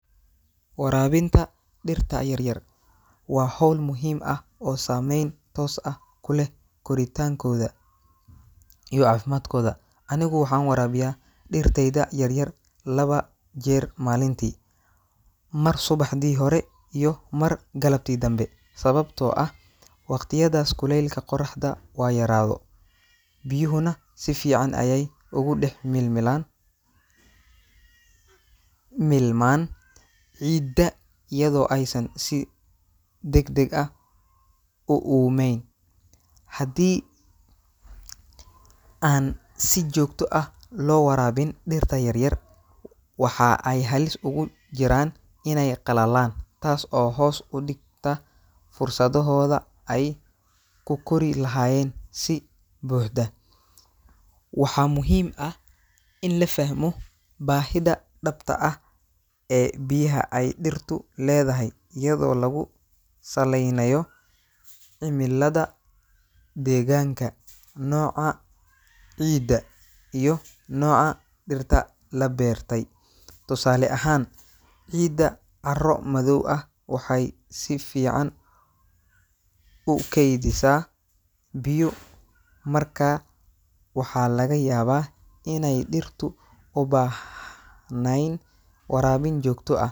Waraabinta dhirta yaryar waa hawl muhiim ah oo saameyn toos ah ku leh koritaankooda iyo caafimaadkooda. Anigu waxaan waraabiyaa dhirtayda yaryar laba jeer maalintii – mar subaxdii hore iyo mar galabtii danbe, sababtoo ah waqtiyadaas kuleylka qoraxda waa yaraado, biyuhuna si fiican ayay ugu dhex milmilaan milmaan ciidda iyadoo aysan si degdeg ah u uumen. Haddii aan si joogto ah loo waraabin dhirta yaryar, waxa ay halis ugu jiraan inay qalalaan, taas oo hoos u dhigta fursadohooda ay ku kori lahaayeen si buuxda. Waxaa muhiim ah in la fahmo baahida dhabta ah ee biyaha ay dhirtu leedahay iyadoo lagu saleynayo cimillada deegaanka, nooca ciidda, iyo nooca dhirta la beertay. Tusaale ahaan, ciidda carro-madow ah waxay si fiican u keydisaa biyo, markaa waxaa laga yaabaa inaay dhirtu u baah nayn waraabin joogto ah.